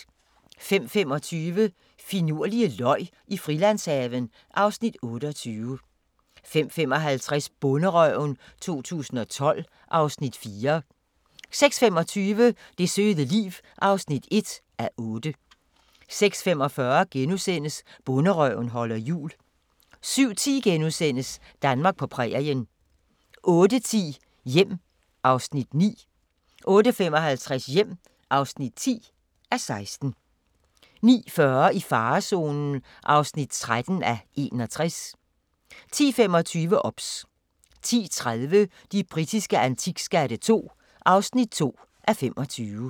05:25: Finurlige løg i Frilandshaven (Afs. 28) 05:55: Bonderøven 2012 (Afs. 4) 06:25: Det søde liv (1:8) 06:45: Bonderøven holder jul * 07:10: Danmark på prærien * 08:10: Hjem (9:16) 08:55: Hjem (10:16) 09:40: I farezonen (13:61) 10:25: OBS 10:30: De britiske antikskatte II (2:25)